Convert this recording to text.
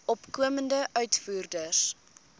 opkomende uitvoerders